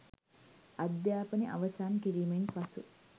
අධ්‍යාපනය අවසන් කිරීමෙන් පසු